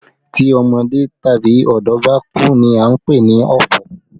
Tí ọmọdé tàbí ọ̀dọ́ bá kú ní a ń pè ní ọ̀fọ̀